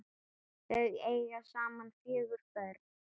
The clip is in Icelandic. Þau eiga saman fjögur börn.